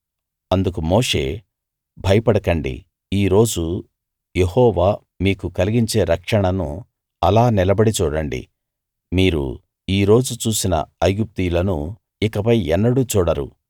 అందుకు మోషే భయపడకండి ఈ రోజు యెహోవా మీకు కలిగించే రక్షణను అలా నిలబడి చూడండి మీరు ఈ రోజు చూసిన ఐగుప్తీయులను ఇకపై ఎన్నడూ చూడరు